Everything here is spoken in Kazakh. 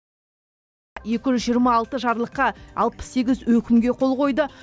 екі жүз жиырма алты жарлыққа алпыс сегіз өкімге қол қойды